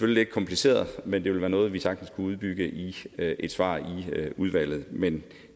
lidt kompliceret men det vil være noget vi sagtens kunne udbygge i et svar i udvalget men